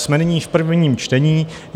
Jsme nyní v prvním čtení.